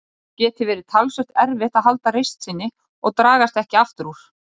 Það geti verið talsvert erfitt að halda reisn sinni og dragast ekki aftur úr.